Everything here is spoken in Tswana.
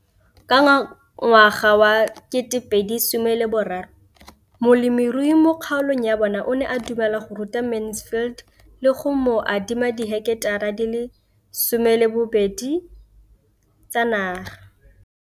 Ka ngwaga wa 2013, molemirui mo kgaolong ya bona o ne a dumela go ruta Mansfield le go mo adima di heketara di le 12 tsa naga.